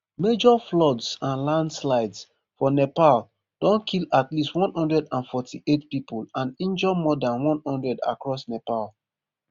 major floods and landslides for nepal don kill at least one hundred and forty-eight people and injure more dan one hundred across nepal